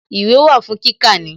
Ìwé wà fún kíkà ni